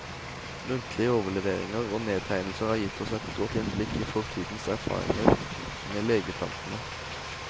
Muntlige overleveringer og nedtegnelser har gitt oss et godt innblikk i fortidens erfaringer med legeplantene.